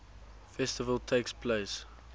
festival takes place